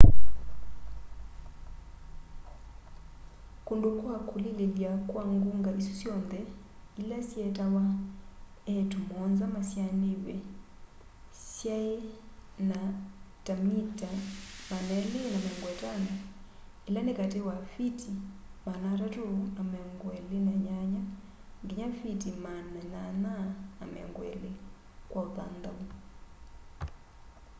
kundu kwa kulililya kwa ngunga isu syonthe ila syeetawa iiitu muonza masyaaniw'e syaina ta mita 250 ila ni kati wa fiti 328 nginya fiti 820 kwa uthanthau